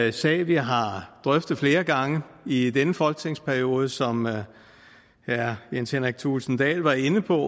en sag vi har drøftet flere gange i denne folketingsperiode som herre jens henrik thulesen dahl var inde på